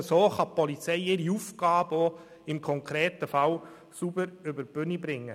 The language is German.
Nur so kann die Polizei ihre Aufgabe im konkreten Fall sauber über die Bühne bringen.